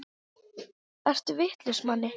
Ertu vitlaus Manni!